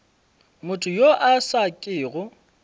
motho yo a sa kego